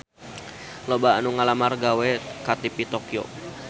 Loba anu ngalamar gawe ka TV Tokyo